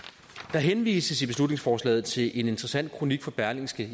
der henvises i beslutningsforslaget til en interessant kronik fra berlingske